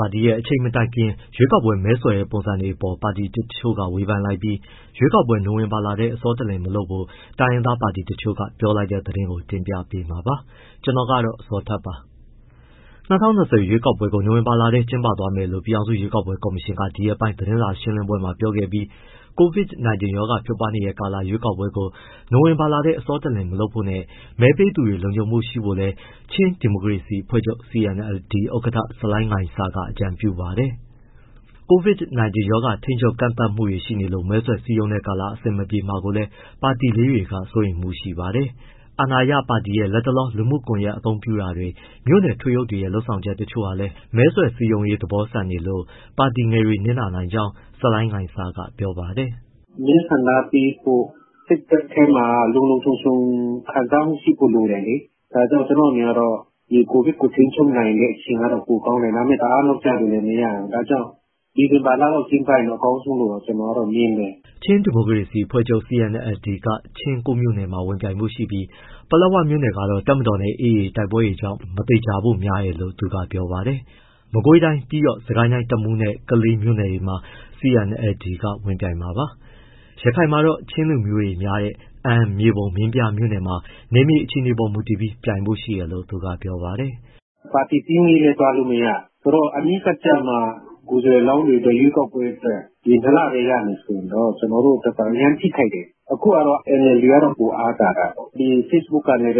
ပါတီရဲ့ အချိန်မတိုင်ခင် ရွေးကောက်ပွဲ မဲဆွယ်တဲ့ပုံစံတွေအပေါ်ပါတီတချို့က ဝေဖန်လိုက်ပြီး ရွေးကောက်ပွဲ နိုဝင်ဘာလထဲ အဆောတလျင် မလုပ်ဖို့ တိုင်းရင်းသားပါတီတချို့က ပြောလိုက်တဲ့သတင်းကို ကိုဇော်ထက် တင်ပြပေးမှာပါ။ ၂၀၂၀ အထွေထွေရွေးကောက်ပွဲကို နိုဝင်ဘာလထဲ ကျင်းပသွားမယ်လို့ ပြည်ထောင်စု ရွေးကောက်ပွဲကော်မရှင်ကဒီရက်ပိုင်း သတင်းစာရှင်းလင်းပွဲမှာ ပြောခဲ့ပြီး၊ COVID-19 ရောဂါဖြစ်ပွားနေတဲ့ကာလ ရွေးကောက်ပွဲကို နိုဝင်ဘာထဲ အဆောတလျင်မလုပ်ဖို့နဲ့ မဲပေးသူတွေ လုံခြုံမှုရှိဖို့လည်း ချင်းဒီမိုကရေစီ အဖွဲ့ချုပ် CNLD ဥက္ကဋ္ဌ ဆလိုင်းငိုင်ဆာ့ခ်က အကြံပြုပါတယ်။ COVID-19 ရောဂါထိန်းချုပ်၊ ကန့်သတ်မှုတွေရှိနေလို့ မဲဆွယ်စည်းရုံးတဲ့ကာလ အဆင်မပြေမှာလည်း ပါတီလေးတွေက စိုးရိမ်မှုရှိပါတယ်။ အာဏာရပါတီရဲ့ လက်တလော လူမှုကွန်ရက်အသုံးပြုတာတွေ၊ မြို့နယ်ထွေအုပ်တွေရဲ့ လုပ်ဆောင်ချက်တချို့ဟာလည်း မဲဆွယ်စည်းရုံးရေး သဘောဆန်နေတယ်လို့ ပါတီငယ်တွေ နစ်နာနိုင်ကြောင်း ဆလိုင်းငိုင်ဆာ့ခ်က ပြောပါတယ်။ “ မဲဆန္ဒပေးဖို့ စိတ်ဓာတ်ထဲမှာ လုံလုံခြုံခြုံခံစားမှုရှိဖို့ လိုတယ်လေ၊ ဒါကြောင့် ကျနော့်အမြင်ကတော့ ဒီ COVID-19 ကိုထိန်းချုပ်နိုင်တဲ့ အချိန်ကတော့ ပိုကောင်းတယ်။ ဒါပေမဲ့ တအားနောက်ကျလို့လည်း မရဘူး၊ ဒါကြောင့် ဒီဇင်ဘာလ ကျင်းပရင် အကောင်းဆုံးလို့ ကျနော်ကတော့ မြင်တယ်။” ချင်းဒီမိုကရေစီအဖွဲ့ချုပ် CNLD က ချင်း ၉ မြို့နယ်မှာဝင်ပြိုင်ဖို့ရှိပြီး ပလက်ဝမြို့နယ်ကတော့ တပ်မတော်နဲ့ AA တိုက်ပွဲတွေကြောင့် မသေချာဖို့ များတယ်လို့ သူကပြောပါတယ်။ မကွေးတိုင်း၊ ပြီးတော့ စစ်ကိုင်းတိုင်း တမူးမြို့နယ်၊ ကလေးမြို့နယ်မှာလည်း CNLD က ဝင်ပြိုင်မှာပါ။ ရခိုင်မှာတော့ ချင်းလူမျိုးတွေ များတဲ့ အမ်း၊ မြေပုံ၊ မင်းပြားမှာ နယ်မြေအခြေအနေပေါ်မူတည်ပြီး ပြိုင်ဖို့ရှိတယ်လို့ သူကပြောပါတယ်။ “ ပါတီစည်းရုံးရေးလည်း သွားမရ၊ ဆိုတော့ အနီးကပ်ကျမှ ကိုယ်စားလှယ်လောင်းတွေ ရွေးကောက်ပွဲအတွက် အချိန် ၂လပဲရမယ်ဆိုရင် ကျနော်တို့ အရမ်းထိခိုက်တယ်။ အခုက NLD ကပိုအားသာတာပေါ့၊ Facebook ကနေ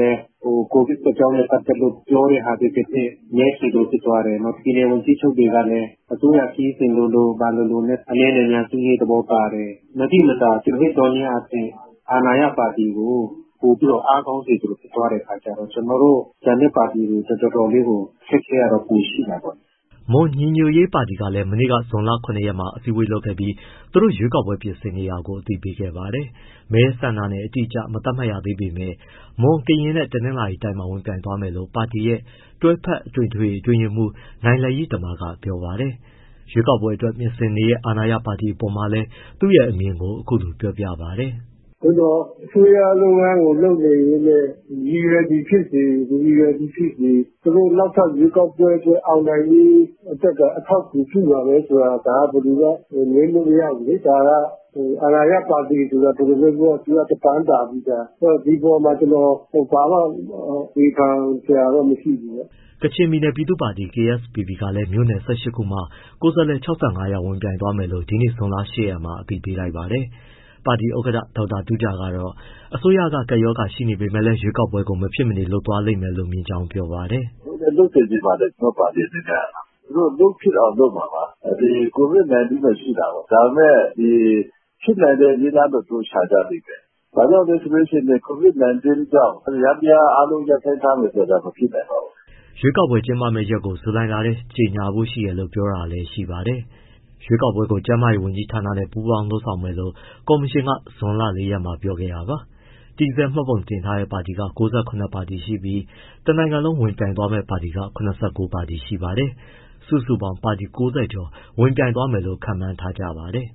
COVID အကြောင်းနဲ့ပတ်သက်လို့ ပြောတဲ့ဟာပဲဖြစ်ဖြစ် မဲဆွယ်သလိုဖြစ်သွားတယ်။ ပြည်နယ် ဝန်ကြီးချုပ်တွေကလည်း အစိုးရခရီးစဉ်လိုလို၊ ဘာလိုလိုနဲ့ အနည်းနဲ့အများ စည်းရုံးရေးသဘောပါတယ်။ မသိမသာ သွယ်ဝိုက်သောနည်းအားဖြင့် အာဏာရပါတီကို ပိုအားကောင်းတဲ့ပုံစံ ဖြစ်သွားတဲ့အခါကျတော့ ကျန်တဲ့ပါတီတွေ တော်တော်လေးကို အခက်အခဲပိုရှိတာပေါ့။” မွန်ညီညွတ်ရေးပါတီကလည်း မနေ့က ဇွန်လ ၇ ရက်မှာ အစည်းအဝေးလုပ်ခဲ့ပြီး သူတို့ရွေးကောက်ပွဲပြင်ဆင်နေတာကို အသိပေးခဲ့ပါတယ်။ မဲဆန္ဒနယ် အတိအကျမသတ်မှတ်ရသေးပေမယ့် မွန်၊ ကရင်နဲ့ တနင်္သာရီတိုင်းမှာ ဝင်ပြိုင်သွားမယ်လို့ ပါတီရဲ့ တွဲဖက်အထွေထွေအတွင်းရေးမှူး နိုင်လယိတမ က ပြောပါတယ်။ ရွေးကောက်ပွဲအတွက် ပြင်ဆင်နေတဲ့ အာဏာရပါတီအပေါ်မှာလည် သူ့အမြင်ကို အခုလိုပြောပါတယ်။ “ သို့သော် အစိုးရလုပ်ငန်းကို လုပ်နေရင်းနဲ့ ရည်ရွယ်သည်ဖြစ်စေ၊ မရည်ရွယ်သည်ဖြစ်စေ၊ သူတို့နောက်ထပ်ရွေးကောက်ပွဲအတွက် အောင်နိုင်ရေးအတွက်က အထောက်အကူပြုမှာပဲဆိုတာ ဒါဘယ်သူမှ ငြင်းလို့မရဘူးလေ။ ဒါက အာဏာရပါတီဆိုတာ ဘယ်လိုပြောပြော တပန်းသာပြီးသား၊ ဒီအပေါ်မှာ ကျနော် ဘာမှ ဝေဖန်စရာတော့ မရှိဘူးပေါ့။” ကချင်ပြည်နယ် ပြည်သူ့ပါတီ KSPP ကလည်း မြို့နယ် ၁၈ ခုမှာ ကိုယ်စားလှယ် ၆၅ယောက် ဝင်ပြိုင်သွားမယ်လို့ ဒီနေ့ ဇွန်လ ၈ရက်မှာ အသိပေးလိုက်ပါတယ်။ ပါတီဥက္ကဋ္ဌ ဒေါက်တာတူးဂျာကတော့ အစိုးရက ကပ်ရောဂါရှိနေပေမဲ့လည်း ရွေးကောက်ပွဲကို မဖြစ်မနေ လုပ်သွားလိမ့်မယ်လို့ မြင်ကြောင်းပြောပါတယ်။ “ လုပ်လည်း လုပ်စေချင်ပါတယ်၊ ကျနော့ပါတီအနေနဲ့ကတော့။ သူတို့ လုပ်ဖြစ်အောင် လုပ်မှာပါ။ ဒီ COVID-19 တော့ ရှိတာပေါ့။ ဒါပေမဲ့ ဒီ ဖြစ်နိုင်တဲ့ နည်းလမ်းတော့ သူတို့ရှာကြလိမ့်မယ်။ ဘာကြောင့်လဲဆိုတော့ COVID-19 ကြောင့် ယန္တရားအားလုံး ရပ်ဆိုင်းထားမယ်ဆိုတာ မဖြစ်နိုင်ပါဘူး။” ရွေးကောက်ပွဲကျင်းပမယ့် ရက်ကို ဇူလိုင်လထဲ ကြေညာဖို့ရှိတယ်လို့ ပြောတာလည်းရှိပါတယ်။ ရွေးကောက်ပွဲကို ကျန်းမာရေးဝန်ကြီးဌာနနဲ့ ပူးပေါင်း လုပ်ဆောင်မယ်လို့ ကော်မရှင်က ဇွန်လ ၄ရက်မှာ ပြောခဲ့တာပါ။ တည်ဆဲမှတ်ပုံတင်ထားတဲ့ပါတီက ၉၇ ပါတီရှိပြီး တနိုင်ငံလုံးမှာ ဝင်ပြိုင်မယ့် ပါတီက ၇၉ပါတီ ရှိပါတယ်။ စုစုပေါင်း ပါတီ ၉၀ ကျော်ဝင်ပြိုင်မယ်လို့ ခန့်မှန်းထားကြပါတယ်။